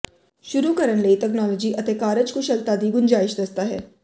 ਸ਼ੁਰੂ ਕਰਨ ਲਈ ਤਕਨਾਲੋਜੀ ਅਤੇ ਕਾਰਜਕੁਸ਼ਲਤਾ ਦੀ ਗੁੰਜਾਇਸ਼ ਦੱਸਦਾ ਹੈ